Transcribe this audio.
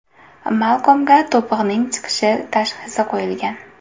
Malkomga to‘pig‘ning chiqishi tashxisi qo‘yilgan.